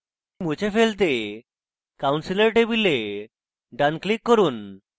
table মুছে ফেলতে counselor table ডান click করুন